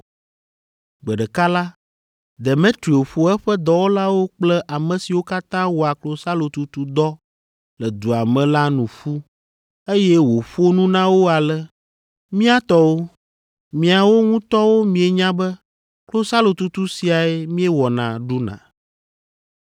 Gbe ɖeka la, Demetrio ƒo eƒe dɔwɔlawo kple ame siwo katã wɔa klosalotutu dɔ le dua me la nu ƒu, eye wòƒo nu na wo ale, “Mía tɔwo, miawo ŋutɔwo mienya be klosalotutu siae míewɔna ɖuna.